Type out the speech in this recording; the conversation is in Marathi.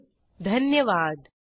सहभागासाठी धन्यवाद